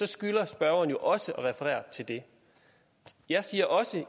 skylder spørgeren jo også at referere til det jeg siger også